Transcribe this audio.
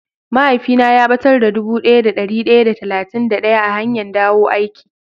Mahaifi na ya batar da dubu daya da dari daya da talatin da daya a hanyan dawo aiki.